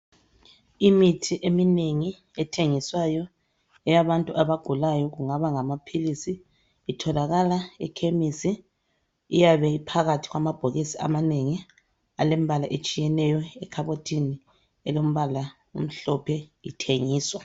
Imithi eminengi ethengiswayo eyabantu abagulayo kungaba ingamaphilisi, itholakala ekhemisi. Iyabe iphakathi kwamabhokisi amanengi, alembala etshiyeneyo. Ekhabothini, elombala omhlophe, ithengiswa,